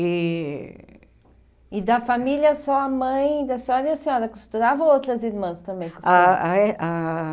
E e da família só a mãe da senhora e a senhora costurava ou outras irmãs também costuravam? Ah ah é ah